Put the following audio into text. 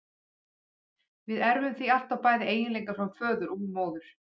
Við erfum því alltaf bæði eiginleika frá föður og móður.